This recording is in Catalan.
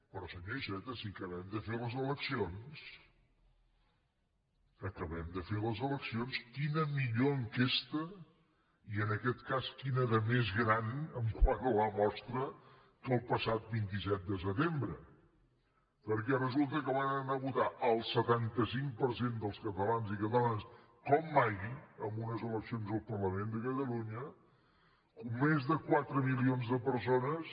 però senyor iceta si acabem de fer les eleccions acabem de fer les eleccions quina millor enquesta i en aquest cas quina de més gran quant a la mostra que el passat vint set de setembre perquè resulta que van anar a votar el setanta cinc per cent dels catalans i catalanes com mai en unes eleccions al parlament de catalunya més de quatre milions de persones